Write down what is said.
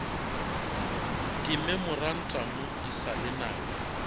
dimemorantamo e sa le nako